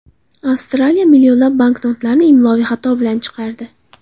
Avstraliya millionlab banknotlarni imloviy xato bilan chiqardi.